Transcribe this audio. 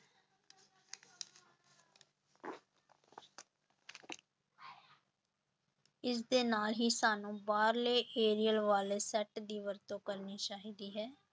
ਇਸਦੇ ਨਾਲ ਹੀ ਸਾਨੂੰ ਬਾਹਰਲੇ ਵਾਲੇ set ਦੀ ਵਰਤੋਂ ਕਰਨੀ ਚਾਹੀਦੀ ਹੈ।